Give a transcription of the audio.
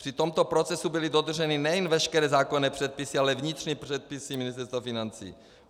Při tomto procesu byly dodrženy nejen veškeré zákonné předpisy, ale i vnitřní předpisy Ministerstva financí.